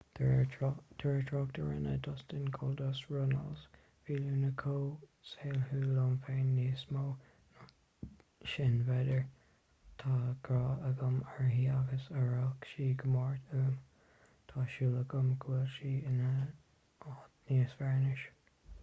de réir trácht a rinne dustin goldust runnels bhí luna chomh saoithiúil liom féin...níos mó ná sin b'fhéidir...tá grá agam uirthi agus aireoidh sí go mór uaim...tá súil agam go bhfuil sí in áit níos fearr anois.